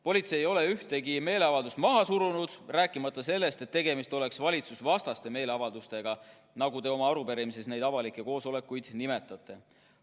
Politsei ei ole ühtegi meeleavaldust maha surunud, ka mitte valitsusvastaseid meeleavaldusi, nagu te oma arupärimises neid avalikke koosolekuid nimetate.